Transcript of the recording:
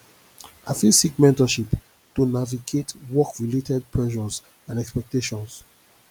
i fit seek mentorship to navigate workrelated pressures and expectations